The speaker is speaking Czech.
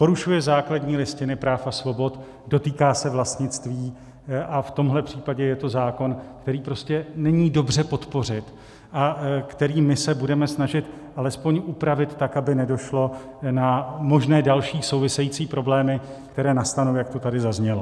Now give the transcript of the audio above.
Porušuje základní listinu práv a svobod, dotýká se vlastnictví, a v tomto případě je to zákon, který prostě není dobře podpořit a který my se budeme snažit alespoň upravit tak, aby nedošlo na možné další související problémy, které nastanou, jak to tady zaznělo.